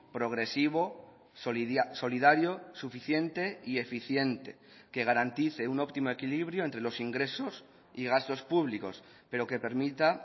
progresivo solidario suficiente y eficiente que garantice un óptimo equilibrio entre los ingresos y gastos públicos pero que permita